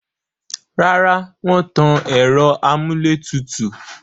Rárá, wọ́n tan ẹ̀rọ amúlétùtù